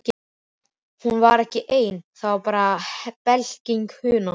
Hún var þá ekki ein, það var bara blekking hugans.